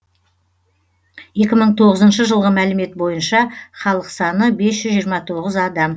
екі мың тоғызыншы жылғы мәлімет бойынша халық саны бес жүз жиырма тоғыз адам